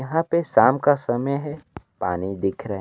यहां पे शाम का समय है पानी दिख रहा--